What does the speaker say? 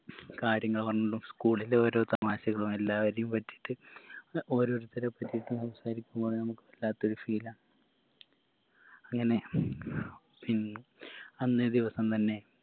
കാര്യങ്ങൾ പറഞ്ഞും school ൻറെ ഓരോ തമാശകളും എല്ലാവരെയും പറ്റിട്ട് ഓരോരുത്തരെ പറ്റിട്ട് സംസാരിക്കുമ്പോ നമുക്ക് വല്ലാത്തൊരു feel ആ അങ്ങനെ പി അന്നേ ദിവസം തന്നെ